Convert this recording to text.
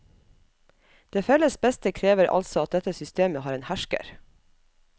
Det felles beste krever altså at dette systemet har en hersker.